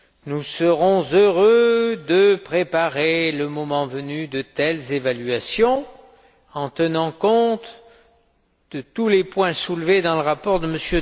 Nous serons heureux de préparer, le moment venu, de telles évaluations en tenant compte de tous les points soulevés dans le rapport de M.